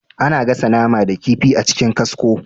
A na gasa nama ko kifi a cikin kasko